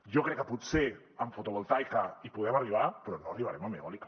jo crec que potser en fotovoltaica hi podem arribar però no hi arribarem en eòlica